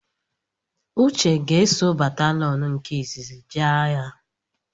Uche ga-eso batalọn nke izizi jee agha